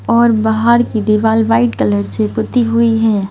और बाहर की दीवाल वाइट कलर से पुती हुई है।